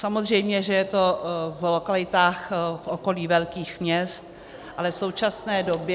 Samozřejmě že je to v lokalitách v okolí velkých měst, ale v současné době -